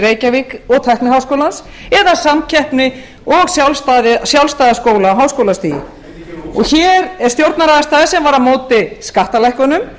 reykjavík og tækniháskólans eða samkeppni og sjálfstæða skóla á háskólastigi hér er stjórnarandstaða sem var á móti skattalækkunum